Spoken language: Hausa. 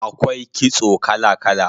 Akwai kitso kala kala